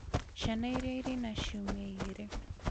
Ciana iria irĩ na ciumia igĩrĩ